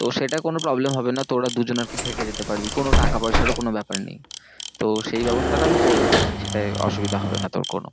তো সেটা কোনো problem হবে না। তোরা দুজনে আর কি থেকে যেতে পারবি। কোনো টাকা পয়সারও কোনো ব্যাপার নেই। তো সেই ব্যবস্থাটা আমি করে দিতে পারি। সেটায় অসুবিধা হবে না তোর কোনো।